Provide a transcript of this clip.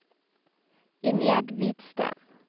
Ingjerd Hvidsten